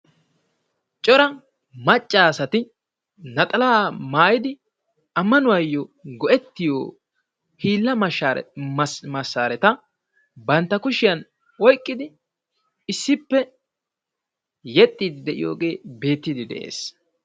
Cora maccassati naaxala maayyidi ammanuwayyo go'ettiyo hiila massareta bantta kushiyaan oyqqidi issippe yeexxide de'iyooge beettide de'ees.